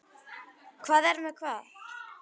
Hvar er hvað?